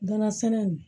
Gana sɛnɛ in